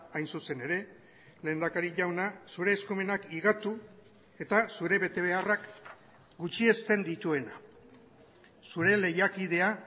hain zuzen ere lehendakari jauna zure eskumenak higatu eta zure betebeharrak gutxiesten dituena zure lehiakidea